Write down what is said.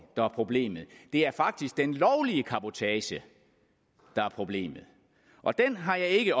der er problemet det er faktisk den lovlige cabotage der er problemet og den har jeg ikke